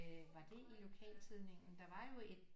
Øh var det i lokaltidningen der var jo et